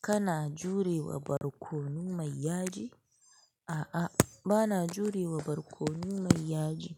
Kana jurewa barkono mai yaji? A'a, bana jurewa barkono mai yaji.